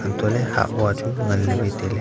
antohley hahhua chu nganley wai tailey.